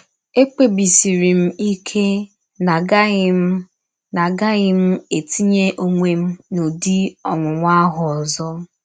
Ekpebisiri m ike na agaghị m na agaghị m etinye ọnwe m n’ụdị ọnwụnwa ahụ ọzọ.